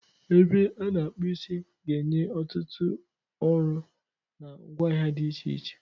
Ebe a na-akpu isi ga-enye ọtụtụ ọrụ na ngwaahịa dị iche iche.